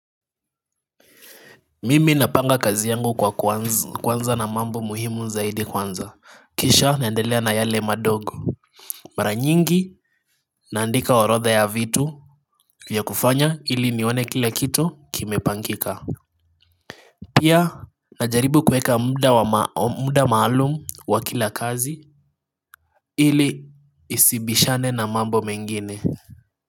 Mimi napanga kazi yangu kwa kuanza na mambo muhimu zaidi kwanza kisha naendelea na yale madogo. Mara nyingi naandika orodha ya vitu vya kufanya ili nione kila kitu kimepangika. Pia najaribu kueka muda maalumu wa kila kazi ili isibishane na mambo mengine.